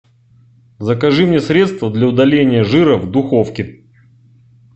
закажи мне средство для удаления жира в духовке